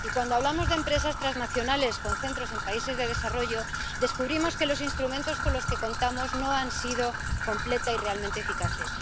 Y cuando hablamos de empresas transnacionales con centros en países de desarrollo, descubrimos que los instrumentos con los que contamos no han sido completa y realmente eficaces.